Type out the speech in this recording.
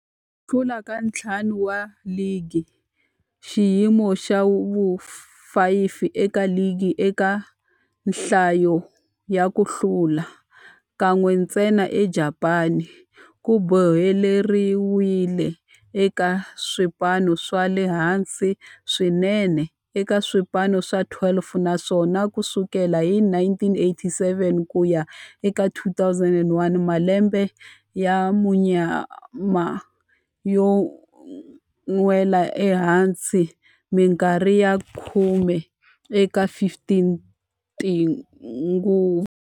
Hlula ka ntlhanu wa ligi, xiyimo xa vu-5 eka ligi eka nhlayo ya ku hlula, kan'we ntsena eJapani, ku boheleriwile eka swipano swa le hansi swinene eka swipano swa 12, naswona ku sukela hi 1987 ku ya eka 2001, malembe ya munyama yo nwela ehansi minkarhi ya khume eka 15 tinguva.